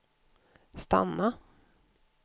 stanna